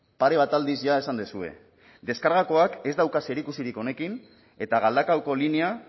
pare bat aldiz ja esan duzue deskargaoak ez dauka zerikusirik honekin eta galdakaoko linea